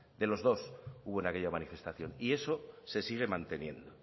de los dos hubo en aquella manifestación y eso se sigue manteniendo